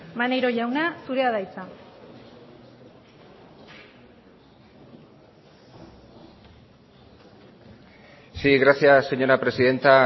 maneiro jauna zurea da hitza sí gracias señora presidenta